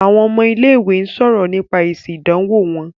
Àwọn ọmọ ilé-ìwé ń sọ̀rọ̀ nípa èsì ìdánwọ̀ wọn.